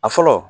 A fɔlɔ